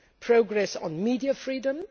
progress on media freedom